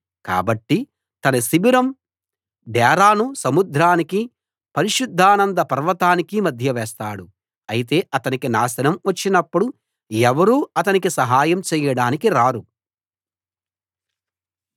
కాబట్టి తన శిబిరం డేరాను సముద్రానికి పరిశుద్ధానంద పర్వతానికి మధ్య వేస్తాడు అయితే అతనికి నాశనం వచ్చినప్పుడు ఎవరూ అతనికి సహాయం చేయడానికి రారు